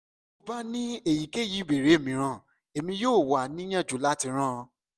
ti o ba ni eyikeyi ibeere miiran emi yoo wa niyanju lati ran